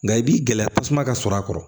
Nka i b'i gɛlɛya tasuma ka sɔrɔ a kɔrɔ